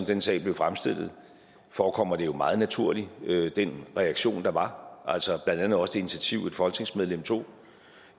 den sag blev fremstillet forekommer det jo meget naturligt med den reaktion der var altså blandt andet også det initiativ et folketingsmedlem tog